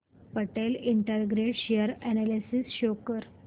Patel integrate share analysis show कर